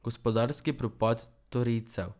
Gospodarski propad torijcev.